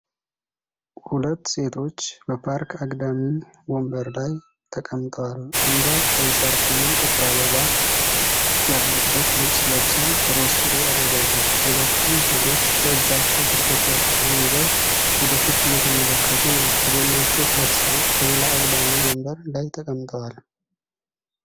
ሁለት ሴቶች በፓርክ አግዳሚ ወንበር ላይ ተቀምጠዋል። አንዷ ቀይ ሻርፕና ጥቁር አበባ ያለበት ልብስ ለብሳ ሮዝ ሱሪ አድርጋለች። ሁለቱም ሴቶች በእጃቸው ስልኮቻቸውን ይዘው ወደፊት እየተመለከቱ ነው። ከጎናቸው ሁለት ሰዎች በሌላ አግዳሚ ወንበር ላይ ተቀምጠዋል።